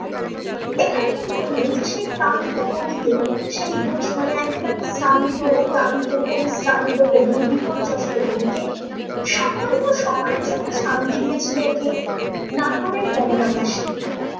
কবি বললেন যে সে ক্লান্ত কবি কে সেই দু মানে একেবারে শান্ত ক্লান্ত পরিশ্রান্ত কবি বিপর্যস্ত কবি কে সামান্য সময়ের জন্য শান্তি দিয়েছিলো কে নাটুরের বনলতা সেন